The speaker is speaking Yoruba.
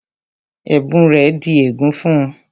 Ẹ̀bùn rẹ̀ di ègún fún-un